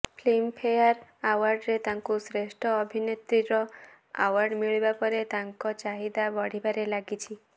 Filmfare ଆଓ୍ବାର୍ଡରେ ତାଙ୍କୁ ଶ୍ରେଷ୍ଠ ଅଭିନେତ୍ରୀର ଆଓ୍ବାର୍ଡ ମିଳିବା ପରେ ତାଙ୍କ ଚାହିଦା ବଢ଼ିବାରେ ଲାଗିଛି